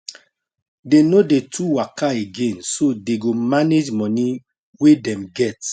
they no dey too waka again so they go manage moni way them get